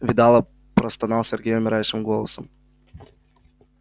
видала простонал сергей умирающим голосом